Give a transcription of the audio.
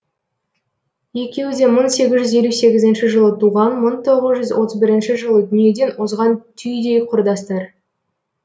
екеуі де мың сегіз жүз елу сегізінші жылы туған мың тоғыз жүз отыз бірінші жылы дүниеден озған түйдей құрдастар